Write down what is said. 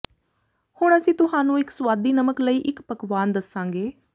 ਹੁਣ ਅਸੀਂ ਤੁਹਾਨੂੰ ਇੱਕ ਸੁਆਦੀ ਨਮਕ ਲਈ ਇੱਕ ਪਕਵਾਨ ਦੱਸਾਂਗੇ